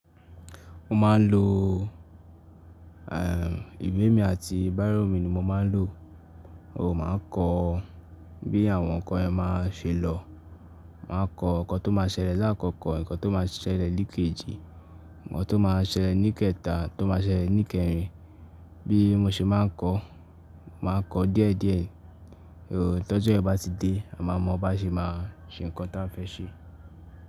Mo máa ń lo, ehn, ìwé mi àti bírò mi ni mo máa ń lò. Ooo, màá kọ bí àwọn ǹkan ẹ́ máa ṣe lọ. Màá kọ nǹkan tó máa ṣẹlẹ̀ láàkọ́kọ́, ǹkan tó máa ṣẹlẹ̀ ní kejì, ǹkan tó máa ṣẹlẹ̀ ní kẹta, tó máa ṣẹlẹ̀ ní kẹrin. Bí mo ṣe máa ń kọ, màá kọ díẹ̀díẹ̀. Ooo, tọ́jọ́ yẹn bá ti dé, a máa mọ bá ṣe máa ṣe ǹkan tí a fẹ́ ṣe.